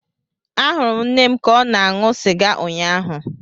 Ahụrụ m nne m ka ọ na-aṅụ sịga ụnyaahụ.